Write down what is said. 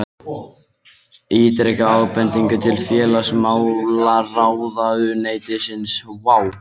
Ítrekar ábendingar til félagsmálaráðuneytisins